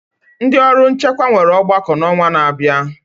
Ndị ọrụ nchekwa nwere ọgbakọ n'ọnwa na-abịa.